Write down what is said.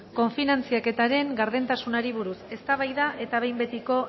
kofinantzaketaren gardentasunari buruz eztabaida eta behin betiko